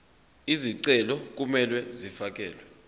izicelo kumele zifakelwe